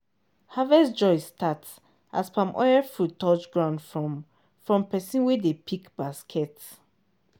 harvest joy start as palm oil fruit touch ground from from person wey dey pick basket.